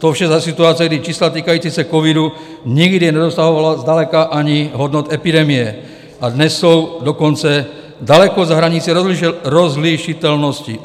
To vše za situace, kdy čísla týkající se covidu nikdy nedosahovala zdaleka ani hodnot epidemie, a dnes jsou dokonce daleko za hranicí rozlišitelnosti.